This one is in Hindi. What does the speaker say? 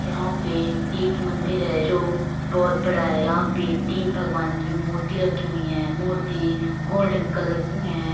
यहाँ पे एक मंदिर है जो बोहत बड़ा है। यहां पे तीन भगवान की मूर्ति रखी हुई हैं। मूर्ति गोल्डन कलर की हैं ।